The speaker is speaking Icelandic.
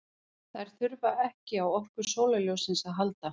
Þær þurfa ekki á orku sólarljóssins að halda.